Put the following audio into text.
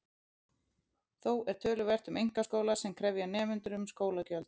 Þó er töluvert um einkaskóla sem krefja nemendur um skólagjöld.